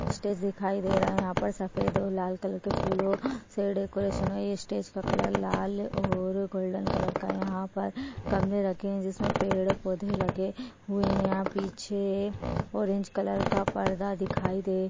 Stage दिखाई दे रहा हैं यहाँ पर सफ़ेद और लाल कलर के फुलो से स्टेज डेकोरेशन हो। ये स्टेज का कलर लाल और गोल्डन कलर का है। यहाँ पर गमले रखे हुये जिस मे पेड पौधे लगे हुये है। यहाँ पीछे ऑरेंज कलर का पर्दा दिखाई दे--